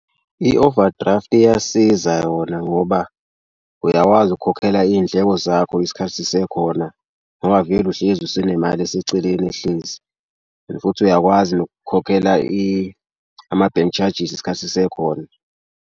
I-overdraft iyasiza yona ngoba uyakwazi ukukhokhela iy'ndleko zakho isikhathi sisekhona ngoba vele uhlezi usenemali eseceleni ehlezi and futhi uyakwazi nokukhokhela ama-bank charges isikhathi sisekhona.